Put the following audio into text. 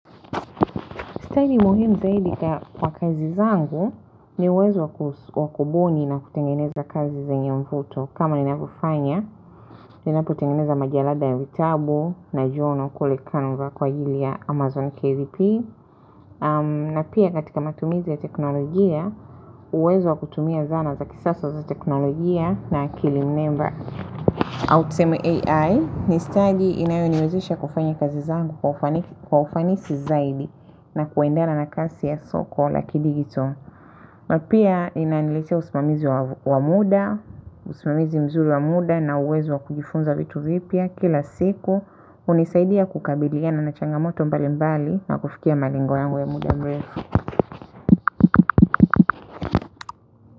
Staili muhimu zaidi kwa kazi zangu ni uwezo wa kubuni na kutengeneza kazi zenye mvuto. Kama ninavyofanya, ninapotengeneza majalada ya vitabu na journal kule canva kwa ajili ya Amazon KVP. Na pia katika matumizi ya teknolojia, uwezo wa kutumia zana za kisasa za teknolojia na akili mnemba. Au tuseme AI, ni stadi inayo niwezesha kufanya kazi zangu kwa ufanisi zaidi na kuendea na kasi ya soko la kidigito. Na pia inaniletea usimamizi wa muda usimamizi mzuri wa muda na uwezo wa kujifunza vitu vipya kila siku hunisaidia kukabiliana na changamoto mbali mbali na kufikia malengo yangu ya muda mrefu.